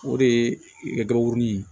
O de ye gabakurunin ye